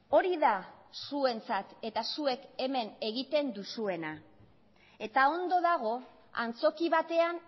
hori da zuentzat eta zuek hemen egiten duzuena eta ondo dago antzoki batean